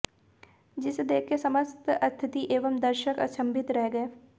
जिसे देखकर समस्त अतिथि एवं दर्षक अचम्भित रह गये